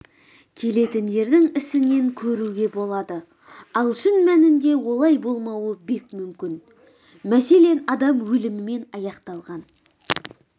келетіндердің ісінен көруге болады ал шын мәнінде олай болмауы бек мүмкін мәселен адам өлімімен аяқталған